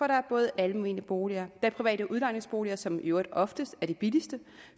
der er både almene boliger og der er private udlejningsboliger som i øvrigt oftest er de billigste